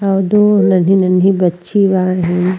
आगे नन्ही नन्ही बच्ची बाहे।